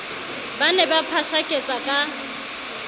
ba ne ba phashaketsa ka